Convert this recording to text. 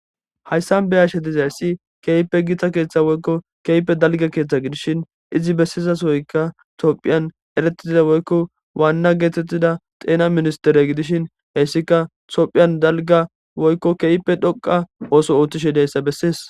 Hayssan be ashe dizayssi keeyppe giita keeththa woykko keype dalga keeththa gidishin izi bessizas woyka tophiyan eretiza woykko waanna geetettida xeena ministere gidishin heyssika tophiyan dalga woykko keeype dhoqa ooso ooththishe deyssa bessees.